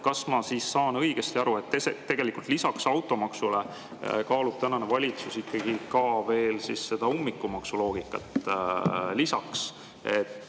Kas ma saan siis õigesti aru, et tegelikult lisaks automaksule kaalub tänane valitsus ikkagi ka veel seda ummikumaksu lisaks?